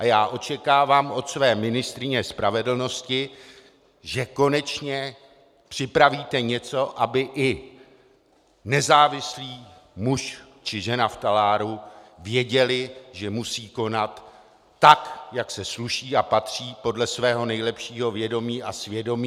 A já očekávám od své ministryně spravedlnosti, že konečně připravíte něco, aby i nezávislý muž či žena v taláru věděli, že musí konat tak, jak se sluší a patří, podle svého nejlepšího vědomí a svědomí.